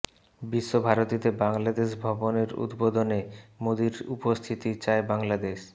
বিশ্ব ভারতীতে বাংলাদেশ ভবনের উদ্বোধনে মোদির উপস্থিতি চায় বাংলাদেশ